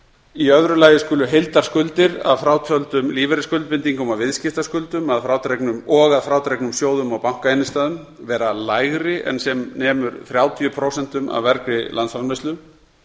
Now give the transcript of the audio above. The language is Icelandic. í öðru lagi skulu heildarskuldir að frátöldum lífeyrisskuldbindingum og viðskiptaskuldum og að frádregnum sjóðum og bankainnstæðum vera lægri en sem nemur þrjátíu prósent af vergri landsframleiðslu